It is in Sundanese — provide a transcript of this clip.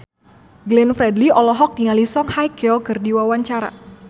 Glenn Fredly olohok ningali Song Hye Kyo keur diwawancara